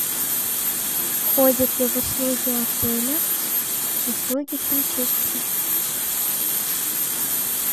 входит ли в услуги отеля услуги химчистки